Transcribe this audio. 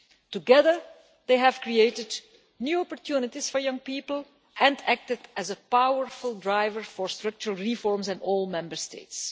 Together, they have created new opportunities for young people and acted as a powerful driver for structural reforms in all Member States.